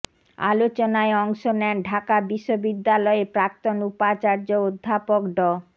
আলোচনায় অংশ নেন ঢাকা বিশ্ববিদ্যালয়ের প্রাক্তন উপাচার্য অধ্যাপক ড